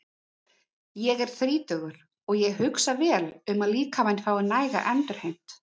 Ég er þrítugur og ég hugsa vel um að líkaminn fái næga endurheimt.